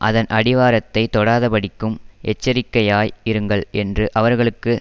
அதன் அடிவாரத்தைத் தொடாதபடிக்கும் எச்சரிக்கையாய் இருங்கள் என்று அவர்களுக்கு